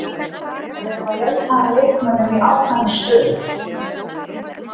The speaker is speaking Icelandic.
Við erum að leita að leikmönnum í ákveðnar stöður.